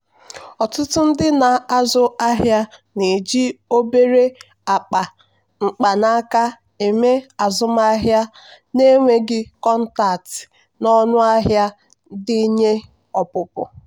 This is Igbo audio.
ọtụtụ ndị na-azụ ahịa na-eji obere akpa mkpanaka eme azụmahịa na-enweghị kọntaktị na ọnụ ahịa ndenye ọpụpụ.